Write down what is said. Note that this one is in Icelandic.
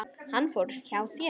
Hann fór hjá sér.